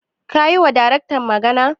Ka yiwa Daraktan magana?